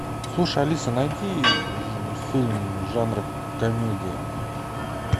слушай алиса найди фильм жанра комедия